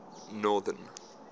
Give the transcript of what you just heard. northern